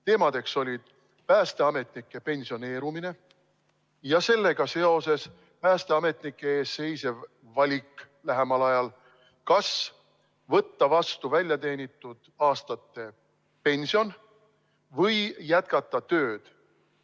Teemadeks olid päästeametnike pensioneerumine ja sellega seoses päästeametnike ees seisev valik lähemal ajal: kas võtta vastu väljateenitud aastate pension või jätkata tööd.